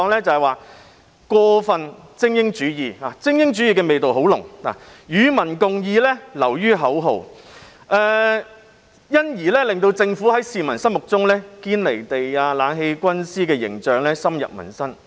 就是過分精英主義——精英主義味道很濃——"與民共議"流於口號，因而令政府在市民心目中"堅離地"，其"冷氣軍師"的形象深入民心。